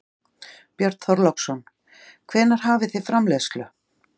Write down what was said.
Björn Þorláksson: Hvenær hefjið þið framleiðslu?